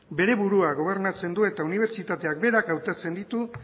bere burua gobernatzen du eta unibertsitateak berak hautatzen ditu